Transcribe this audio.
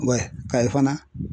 Kayi fana